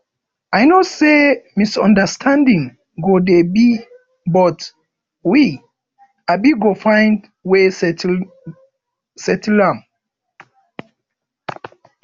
i know sey misunderstanding go dey but we um go find wey settle am